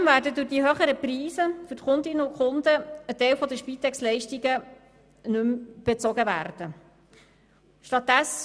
Zudem werden aufgrund der höheren Preise für die Kundinnen und Kunden ein Teil der Spitexleistungen nicht mehr bezogen.